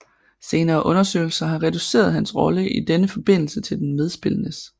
Senere undersøgelser har reduceret hans rolle i denne forbindelse til den medspillendes